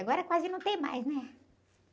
Agora quase não tem mais, né?